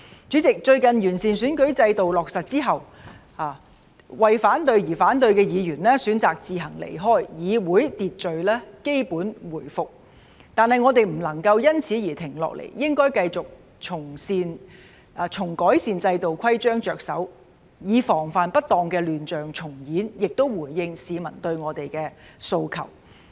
主席，最近完善選舉制度落實之後，為反對而反對的議員選擇自行離開，議會秩序基本回復，但我們不能夠因此而停下來，應該繼續從改善制度規章着手，以防範不當的亂象重演，同時回應市民對我們的訴求。